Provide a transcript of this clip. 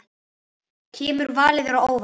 Kemur valið þér á óvart?